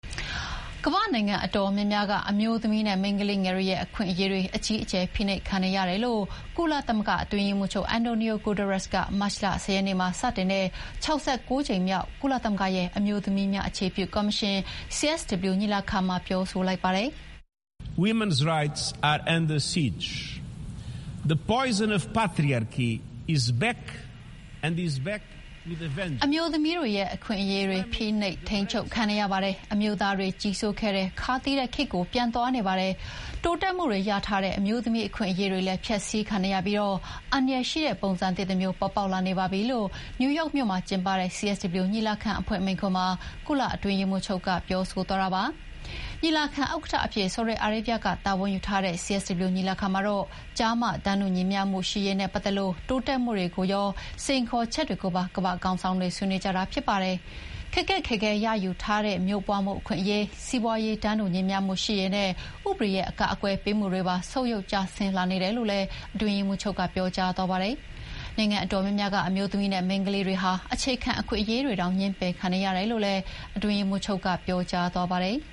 ကမ္ဘာ့နိုင်ငံအတော်များများက အမျိုးသမီးနဲ့ မိန်းကလေးငယ်တွေရဲ့ အခွင့်အရေးတွေ အကြီးအကျယ် ဖိနှိပ်ခံနေရတယ်လို့ ကုလသမဂ္ဂ အတွင်းရေးမှုးချုပ် အန်တိုနီယို ဂူတာရက်စ်ကမတ်လ ၁၀ ရက်နေ့မှာစတင်တဲ့ ၆၉ ကြိမ်မြောက် ကုလသမဂ္ဂရဲ့ အမျိုးသမီးများအခြေပြုကော်မရှင် CSW ညီလာခံမှာ ပြောဆိုလိုက်ပါတယ်။ “အမျိုးသမီးတွေရဲ့ အခွင့်အရေးတွေ ဖိနှိပ်ခံနေရပါတယ်။ အမျိုးသားတွေ ကြီးစိုးခဲ့တဲ့ ခါးသီးတဲ့ခေတ်ကို ပြန်သွားနေပါတယ်။ တိုးတက်မှုတွေရထားတဲ့ အမျိုးသမီး အခွင့်အရေးတွေလည်း ဖျက်ဆီးခံနေရပြီး အန္တရာယ်ရှိတဲ့ ပုံစံသစ်တမျိုး ပေါ်ပေါက်လာနေပါပြီ" လို့ နယူးယောက်မြို့မှာကျင်းပတဲ့ CSW ညီလာခံအဖွင့်မိန့်ခွန်းမှာ ကုလအတွင်းရေးမှုးချုပ်က ပြောဆိုသွားတာပါ။ ညီလာခံဥက္ကဋ္ဌအဖြစ် ဆော်ဒီအာရေဗျက တာဝန်ယူထားတဲ့ CSW ညီလာခံမှာတော့ ကျားမ တန်းတူညီမျှရေးနဲ့ပတ်သက်လို့ တိုးတက်မှုတွေကိုရော စိန်ခေါ်ချက်တွေကိုပါ ကမ္ဘာ့ခေါင်းဆောင်တွေ ဆွေးနွေးကြတာဖြစ်ပါတယ်။ ခက်ခက်ခဲခဲ ရယူထားရတဲ့ မျိုးပွါးမှုအခွင့်အရေး၊ စီးပွါးရေး တန်းတူညီမျှရေးနဲ့ ဥပဒေရဲ့ အကာအကွယ်ပေးမှုတွေပါ ဆုတ်ယုတ်ကျဆင်းလာနေတယ်လို့လည်း အတွင်းရေးမှုးချုပ်က ပြောကြားသွားပါတယ်။ နိုင်ငံအတော်များများက အမျိုးသမီးနဲ့ မိန်းကလေးတွေဟာ အခြေခံ အခွင့်အရေးတွေတောင် ငြင်းပယ်ခံနေရတယ်လို့လည်း အတွင်းရေးမှုးချုပ်က ပြောကြားသွားပါတယ်။